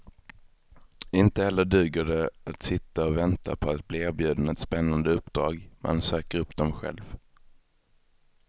Inte heller duger det att sitta och vänta på att bli erbjuden ett spännande uppdrag, man söker upp dem själv.